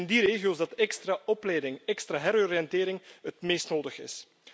Het is precies in die regio's dat extra opleiding, extra heroriëntering het meest nodig is.